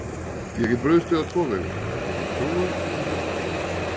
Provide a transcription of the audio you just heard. Ég get brugðist við á tvo vegu, ég get trúað eða verið trúlaus.